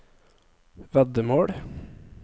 veddemål